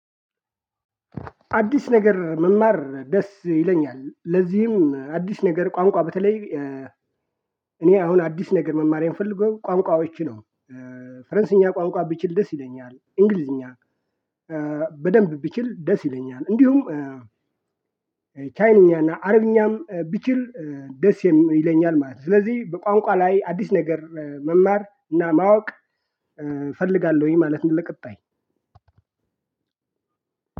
አዲስ ነገር መማር ደስ ይለኛል ለዚህም አዲስ ነገር ቋንቋ በተለይ እኔ አሁን አዲስ ነገር መማር የምፈልገው ቋንቋዎችን ነው። ፈረንሳይኛ ቋንቋ ቢችል ደስ ይለኛል እንግሊዝኛ። በደንብ ብችል ደስ ይለኛል እንዲሁም። ቻይንኛና አረብኛም ቢችል ደስ ይለኛል ማለት ነው። ስለዚህ በቋንቋ ላይ አዲስ ነገር መማር እና ማወቅ እፈልጋለሁኝ ማለት ነው። ለቀጣይ